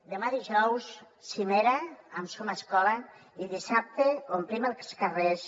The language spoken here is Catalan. demà dijous cimera amb som escola i dissabte omplim els carrers